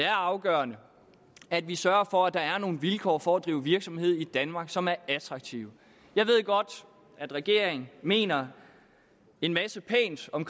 afgørende at vi sørger for at der er nogle vilkår for at drive virksomhed i danmark som er attraktive jeg ved godt at regeringen mener en masse pænt om